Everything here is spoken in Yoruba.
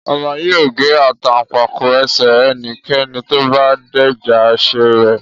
Ọba yóò gé Àtàǹpàkò ẹsẹ̀ ẹnikẹ́ni tó bá dẹ́ja àṣẹ rẹ̀